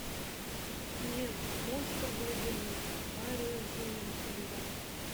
мег монстр глубины барри зонненфельда